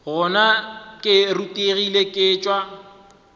gona ke rutegile ke tšwa